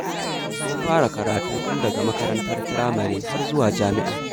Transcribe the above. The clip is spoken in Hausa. Mun fara karatu tun daga makarantar firamare, har zuwa jami'a.